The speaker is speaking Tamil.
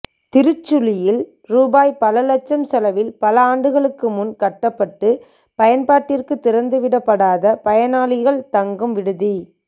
திருச்சுழியில் ரூபாய் பல லட்சம் செலவில் பல ஆண்டுகளுக்குமுன் கட்டடப்பட்டு பயன்பாட்டிற்குத் திறந்துவிடப் படாத பயணிகள் தங்கும் விடுதி